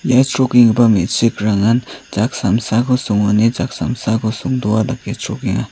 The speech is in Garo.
ia chrokenggipa me·chikrangan jak samsako songone jak samsako songdoa dake chrokenga.